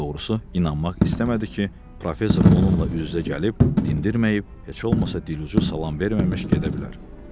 Daha doğrusu inanmaq istəmədi ki, professor onunla üz-üzə gəlib, dindirməyib, heç olmasa dilucu salam verməmiş gedə bilər.